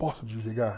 Posso desligar?